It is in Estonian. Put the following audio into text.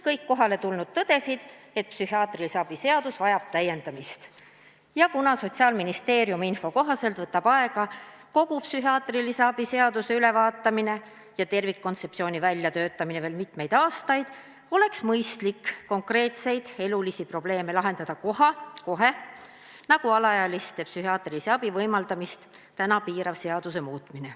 Kõik kohaletulnud tõdesid, et psühhiaatrilise abi seadus vajab täiendamist ning kuna Sotsiaalministeeriumi info kohaselt võtab kogu psühhiaatrilise abi seaduse ülevaatamine ja tervikkontseptsiooni väljatöötamine aega veel mitmeid aastaid, siis oleks mõistlik lahendada konkreetseid elulisi probleeme kohe, näiteks muuta alaealistele psühhiaatrilise abi võimaldamist piiravat seadust.